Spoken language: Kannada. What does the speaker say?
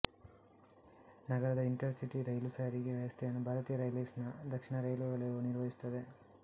ನಗರದ ಇಂಟರ್ಸಿಟಿ ರೈಲು ಸಾರಿಗೆ ವ್ಯವಸ್ಥೆಯನ್ನು ಭಾರತೀಯ ರೈಲ್ವೇಸ್ ನ ದಕ್ಷಿಣ ರೈಲ್ವೆ ವಲಯವು ನಿರ್ವಹಿಸುತ್ತದೆ